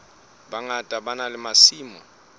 bangata ba na le masimo